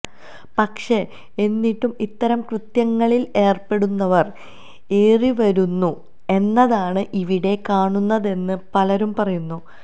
പക്ഷെ എന്നിട്ടും ഇത്തരം കൃത്യങ്ങളില് ഏര്പ്പെടുന്നവര് ഏറിവരുന്നു എന്നതാണ് ഇവിടെ കാണുന്നതെന്ന് പലരും പറയുന്നു